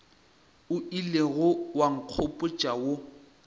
o ilego wa nkgopotša wo